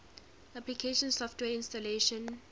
application software installation